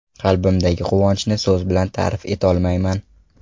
Qalbimdagi quvonchni so‘z bilan ta’rif etolmayman.